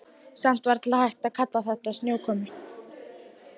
Samt varla hægt að kalla þetta snjókomu.